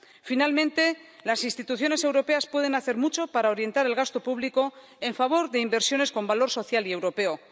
Finalmente, las instituciones europeas pueden hacer mucho para orientar el gasto público en favor de inversiones con valor social y europeo.